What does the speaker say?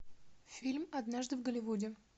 фильм однажды в голливуде